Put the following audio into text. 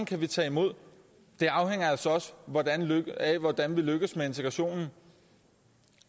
kan tage imod afhænger altså også af hvordan vi lykkes med integrationen